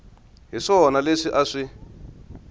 hi swona leswi a swi